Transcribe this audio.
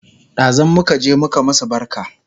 Ɗazun muka je muka masu barka